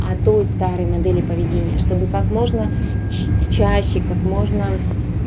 а той старой модели поведения чтобы как можно ч чаще как можно